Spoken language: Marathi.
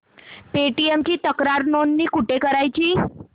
पेटीएम ची तक्रार नोंदणी कुठे करायची